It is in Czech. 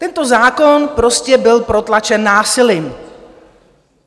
Tento zákon prostě byl protlačen násilím.